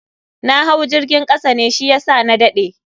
Na hau jirgin kasa ne shiyasa na dade.